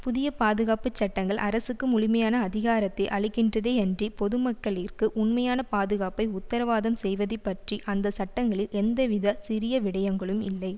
புதிய பாதுகாப்பு சட்டங்கள் அரசுக்கு முழுமையான அதிகாரத்தை அளிக்கின்றதேயன்றி பொதுமக்களிற்கு உண்மையான பாதுகாப்பை உத்தரவாதம் செய்வது பற்றி அந்த சட்டங்களில் எந்தவித சிறிய விடயங்களும் இல்லை